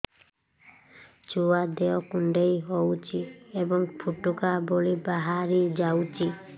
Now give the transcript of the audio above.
ଛୁଆ ଦେହ କୁଣ୍ଡେଇ ହଉଛି ଏବଂ ଫୁଟୁକା ଭଳି ବାହାରିଯାଉଛି